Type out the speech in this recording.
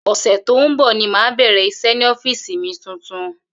Ò̩sè̩ tó ń bò̩ ni màá bè̩rè̩ is̩é̩ ní ó̩fíìsì mi tuntun